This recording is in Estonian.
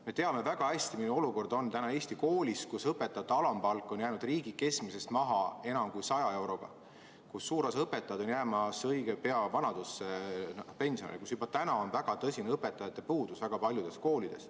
Me teame väga hästi, milline olukord on täna Eesti koolis, kus õpetajate alampalk on jäänud riigi keskmisest maha enam kui 100 euroga, kus suur osa õpetajaid on õige pea jäämas vanaduspensionile, kus juba täna on väga tõsine õpetajate puudus väga paljudes koolides.